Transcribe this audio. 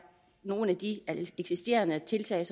nogle af de eksisterende tiltag